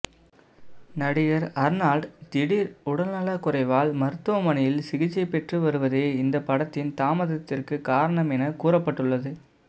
நடிகர் அர்னால்டு திடீர் உடல்நல குறைவால் மருத்துவமனையில் சிகிச்சை பெற்று வருவதே இந்த படத்தின் தாமதத்திற்கு காரணம் என கூறப்பட்டுள்ளது